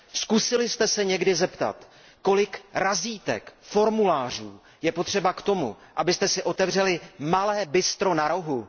Zkusili jste se někdy zeptat, kolik razítek, formulářů je potřeba k tomu, abyste si otevřeli malé bistro na rohu?